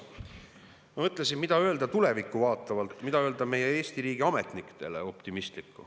Ma mõtlesin, mida öelda tulevikku vaatavalt, mida optimistlikku öelda meie Eesti riigiametnikele.